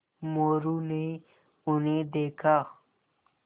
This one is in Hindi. मोरू ने उन्हें देखा